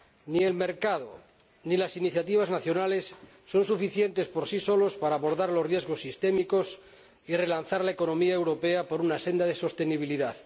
Ni el mercado ni las iniciativas nacionales son suficientes por sí solos para abordar los riesgos sistémicos y relanzar la economía europea por una senda de sostenibilidad.